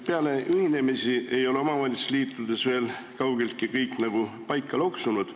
Peale ühinemisi ei ole omavalitsusliitudes veel kaugeltki kõik paika loksunud.